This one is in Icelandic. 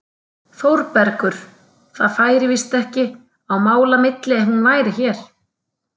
ÞÓRBERGUR: Það færi víst ekki á milli mála ef hún væri hér!